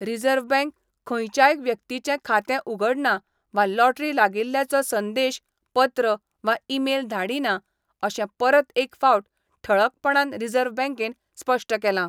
Reserve bank खंयच्याय व्यक्तीचें खातें उघडना वा लॉटरी लागिल्ल्याचो संदेश, पत्र वा ईमेल धाडिना अशें परत एक फावट ठळकपणान रिझर्व्ह बँकेन स्पश्ट केलां.